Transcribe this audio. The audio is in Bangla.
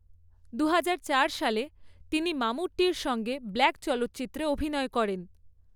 দুহাজার চার সালে তিনি মামুট্টির সঙ্গে ব্ল্যাক চলচ্চিত্রতে অভিনয় করেন।